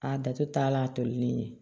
A dato t'a la a tolilen ye